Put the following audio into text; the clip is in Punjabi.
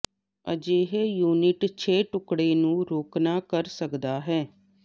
ਅਜਿਹੇ ਯੂਨਿਟ ਛੇ ਟੁਕੜੇ ਨੂੰ ਰੋਕਨਾ ਕਰ ਸਕਦਾ ਹੈ